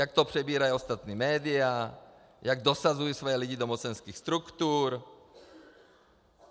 Jak to přebírají ostatní média, jak dosazují svoje lidi do mocenských struktur.